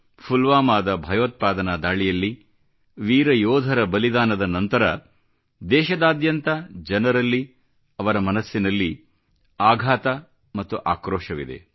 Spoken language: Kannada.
ಪುಲ್ವಾಮಾದ ಭಯೋತ್ಪಾದನಾ ದಾಳಿಯಲ್ಲಿ ವೀರ ಯೋಧರ ಬಲಿದಾನದ ನಂತರ ದೇಶದಾದ್ಯಂತ ಜನರಲ್ಲಿ ಅವರ ಮನಸ್ಸಿನಲ್ಲಿ ಆಘಾತ ಮತ್ತು ಆಕ್ರೋಶವಿದೆ